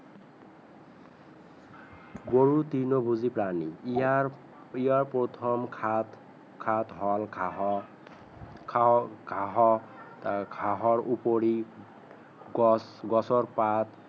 গৰু তিৰ্ণ ভূজি প্ৰাণী ইয়াৰ প্ৰিয় প্ৰথম হল ঘাঁহৰ ঘাঁহৰ ওপৰি গছ গছৰ পাত